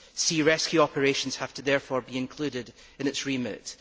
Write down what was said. Sea rescue operations have therefore to be included in its remit.